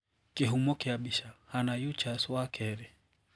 Kihũmo kia bica, Hannah Eachus wa kerĩ.